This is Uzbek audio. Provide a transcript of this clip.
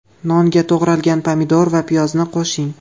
Nonga to‘g‘ralgan pomidor va piyozni qo‘shing.